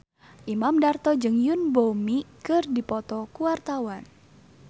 Imam Darto jeung Yoon Bomi keur dipoto ku wartawan